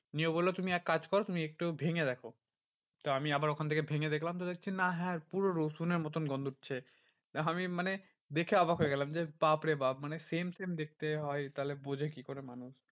নিয়ে বললো তুমি এক কাজ করো তুমি একটু ভেঙে দেখো। তো আমি আবার ওখান থেকে ভেঙে দেখলাম তো দেখলাম যে না হ্যাঁ পুরো রসুনের মতন গন্ধ উঠছে। আমি মানে দেখে অবাক হয়ে গেলাম যে বাপরে বাপ্ মানে same same দেখতে হয়। তাহলে বোঝে কি করে মানুষ